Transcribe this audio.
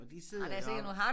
Og de sidder og